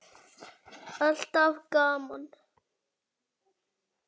Alltaf gaman.